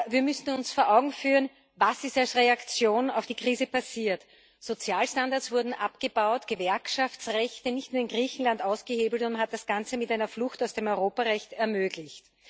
Wir müssen uns vor Augen führen, was als Reaktion auf die Krise passiert ist Sozialstandards wurden abgebaut, Gewerkschaftsrechte nicht nur in Griechenland ausgehebelt, und man hat das Ganze mit einer Flucht aus dem Europarecht ermöglicht.